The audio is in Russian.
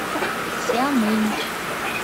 сямынь